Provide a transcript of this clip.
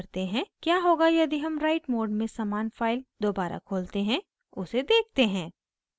क्या होगा यदि हम write मोड में समान फाइल दोबारा खोलते हैं उसे देखते हैं